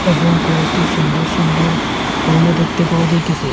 এবং কয়েকটি সুন্দর সুন্দর ফুলও দেখতে পাওয়া যাইতেসে।